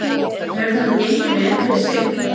Hefur þetta gengið vel fyrir sig?